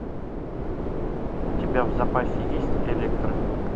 у тебя в запасе есть электра